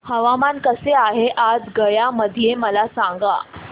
हवामान कसे आहे आज गया मध्ये मला सांगा